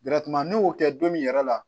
n'i y'o kɛ don min yɛrɛ la